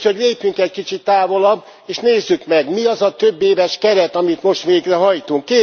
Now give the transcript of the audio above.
Úgyhogy lépjünk egy kicsit távolabb és nézzük meg, mi az a többéves keret, amit most végrehajtunk?